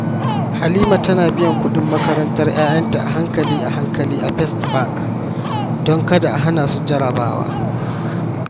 Halima tana biyan kudin makarantar 'ya'yanta a-hankali a-hankali a First Bank don kada a hana su jarabawa.